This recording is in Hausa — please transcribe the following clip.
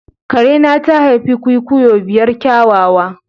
Karena ta haifi kwikwiyo biyar kyawawa.